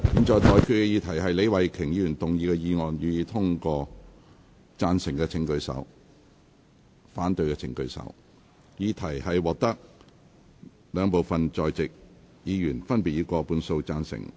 我認為議題獲得經由功能團體選舉產生及分區直接選舉產生的兩部分在席議員，分別以過半數贊成。